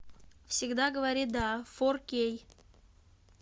всегда говори да фор кей